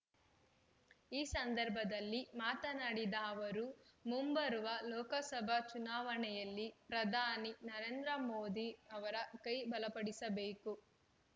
ಈ ಸಂದರ್ಭದಲ್ಲಿ ಮಾತನಾಡಿದ ಅವರು ಮುಂಬರುವ ಲೋಕಸಭಾ ಚುನಾವಣೆಯಲ್ಲಿ ಪ್ರಧಾನಿ ನರೇಂದ್ರ ಮೋದಿಯವರ ಕೈ ಬಲಪಡಿಸಬೇಕು